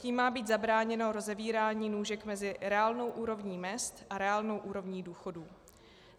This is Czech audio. Tím má být zabráněno rozevírání nůžek mezi reálnou úrovní mezd a reálnou úrovní důchodů.